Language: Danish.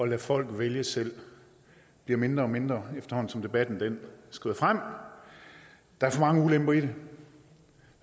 lade folk vælge selv bliver mindre og mindre efterhånden som debatten skrider frem der er for mange ulemper i det